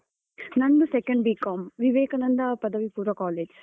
ನಂದು second B.com Vivekananda ಪದವಿ ಪೂರ್ವ college.